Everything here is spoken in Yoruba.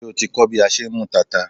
Ṣé o ti ń kọ́ bí a ṣe ń mú tata?